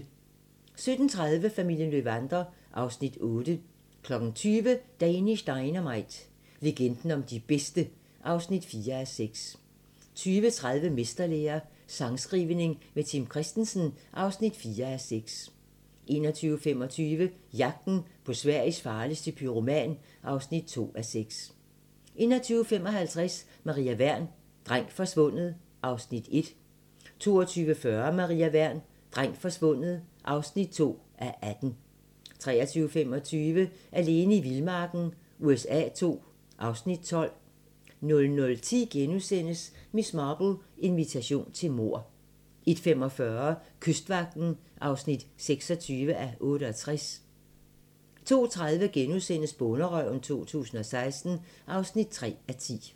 17:30: Familien Löwander (Afs. 8) 20:00: Danish Dynamite – legenden om de bedste (4:6) 20:30: Mesterlære - sangskrivning med Tim Christensen (4:6) 21:25: Jagten på Sveriges farligste pyroman (2:6) 21:55: Maria Wern: Dreng forsvundet (1:18) 22:40: Maria Wern: Dreng forsvundet (2:18) 23:25: Alene i vildmarken USA II (Afs. 12) 00:10: Miss Marple: Invitation til mord * 01:45: Kystvagten (26:68) 02:30: Bonderøven 2016 (3:10)*